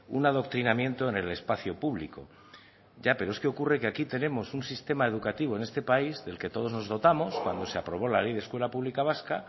un adoctrinamiento en el espacio público ya pero es que ocurre que aquí tenemos un sistema educativo en este país del que todos nos dotamos cuando se aprobó la ley de escuela pública vasca